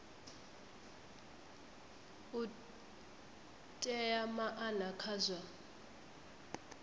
u ea maana kha zwa